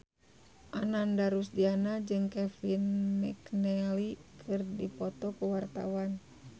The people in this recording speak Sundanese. Ananda Rusdiana jeung Kevin McNally keur dipoto ku wartawan